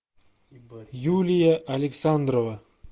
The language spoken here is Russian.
юлия александрова